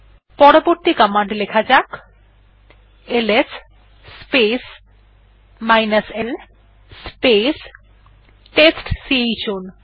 পরবর্তী কমান্ড লেখা যাক এলএস স্পেস l স্পেস টেস্টচাউন